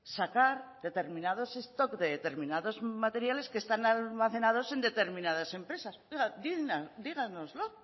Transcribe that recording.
sacar determinados stock de determinados materiales que están almacenados en determinadas empresas díganoslo